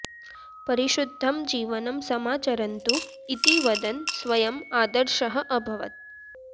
परिशुद्धं जीवनं समाचरन्तु इति वदन् स्वयम् आदर्शः अभवत्